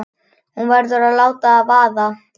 Hún verður að láta það vaða.